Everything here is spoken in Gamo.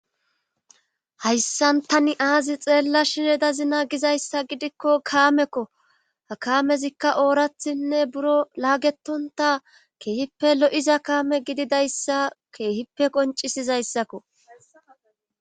Hayssantani aazi xeella shinedazina gizayssa gidikko kaamekko akaamezikka oorathinne buro laagetonta keehippe lo'iza kaame gididayssa keehippe qoncisizayssakko.